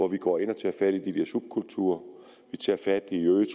vi går ind og tager fat i de der subkulturer vi tager fat i øget